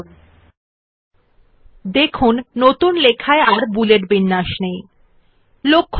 উল্লেখ্য আমরা শব্দ নামে করে করে টাইপ দুইবার আমাদের নথিতে আছেNotice that we have typed the word name twice in our document